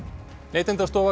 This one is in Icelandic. Neytendastofa